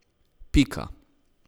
Pika.